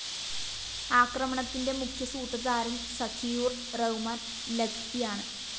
ആക്രമണത്തിന്റെ മുഖ്യസൂത്രധാരന്‍ സഖിയൂര്‍ റഹ്മാന്‍ ലഖ്‌വിയാണ്